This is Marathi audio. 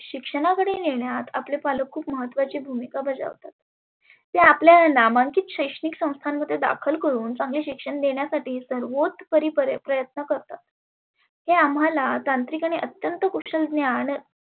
शिक्षणाकडे नेण्यात आपले पालक खुप महत्वाची भुमीका बजावतात. ते आपल्या नामांकिंत शैक्षणीक संस्थांमध्ये दाखल करुण चांगए शिक्षण देण्यासाठी सर्वोत परी प्रयत्न करतात. ते आम्हाला तांत्रीक आणि अत्यंत कुशल ज्ञान